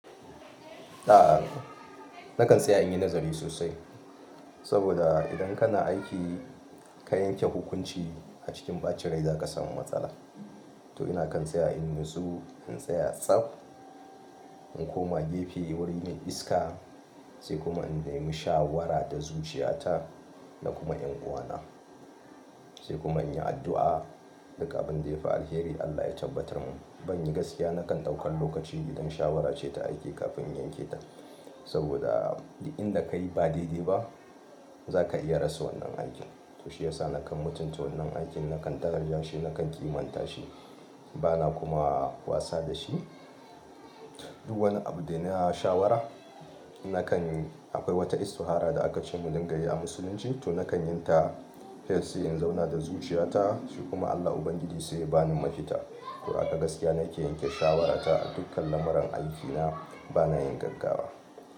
A'a nakan tsaya in yi nazari sosai, saboda idan kana aiki ka yanke hukunci a cikin bacin rai zaka samu matsala. To ina dan tsaya in nitsu, in tsaya tsaf, in koma gefe wurin yin iska, sai kuma in nemi shawara da zuciya ta da kuma 'yan uwana. Sai kuma in yi addu'a, daga abin da ya fi alheri Allah ya tabbatar mun. Ban yi gaskiya nakan ɗaukan lokaci idan shawara ce ta aiki kafin in yanke ta. Saboda duk inda ka yi ba daidai ba zaka iya rasa wannan aikin. To shi ya sa nakan mutunta wannan aikin nakan daraja shi nakan kimanta shi bana kuma wasa da shi. Duk wani abu da na shawara nakan akwai wata istihara da aka ce mu dinga yi a musulunci to nakan yin ta fes sai in zauna da zuciya ta sai kuma Allah Ubangiji sai ya ba ni makita. To haka gaskiya nake yanke shawarata a dukkan lamuran aikina bana yin gaggawa.